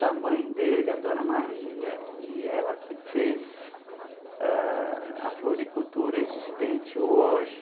Da mãe dele, a dona Maria, que ela que fez a a floricultura existente hoje.